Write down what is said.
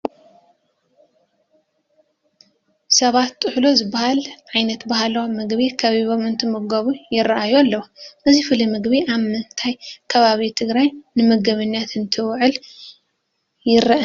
ሰባት ጥህሎ ዝበሃል ዓይነት ባህላዊ ምግቢ ከቢቦም እንትምገቡ ይርአዩ ኣለዉ፡፡ እዚ ፍሉይ ምግቢ ኣብ ምንታይ ከባቢ ትግራይ ንምግብነት እንትውዕል ይርአ?